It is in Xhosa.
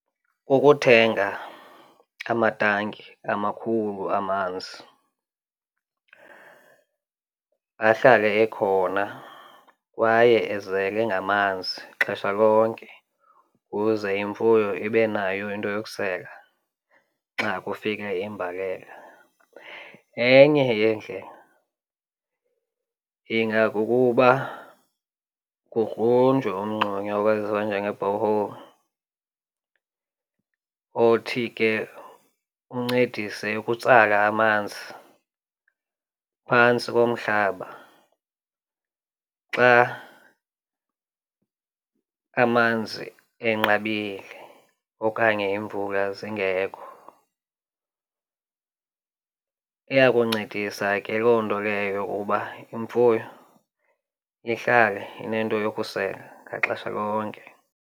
Kukuthenga amatanki amakhulu amanzi ahlale ekhona kwaye ezele ngamanzi xesha lonke kuze imfuyo ibe nayo into yokusela xa kufika imbalela. Enye yeendlela ingakukuba kugrunjwe umngxunya owaziwa njenge-borehole othi ke uncedise ukutsala amanzi phantsi komhlaba xa amanzi enqabile okanye iimvula zingekho. Iya kuncedisa ke loo nto leyo uba imfuyo ihlale inento yokusela ngaxesha lonke.